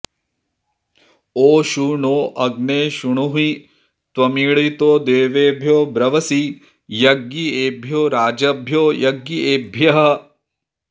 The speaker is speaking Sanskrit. ओ षू णो अग्ने शृणुहि त्वमीळितो देवेभ्यो ब्रवसि यज्ञियेभ्यो राजभ्यो यज्ञियेभ्यः